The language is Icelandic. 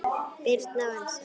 Birna og Elsa.